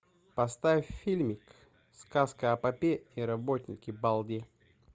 поставь фильмик сказка о попе и работнике балде